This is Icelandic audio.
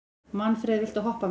Manfreð, viltu hoppa með mér?